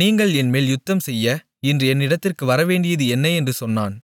நீங்கள் என்மேல் யுத்தம்செய்ய இன்று என்னிடத்திற்கு வரவேண்டியது என்ன என்று சொன்னான்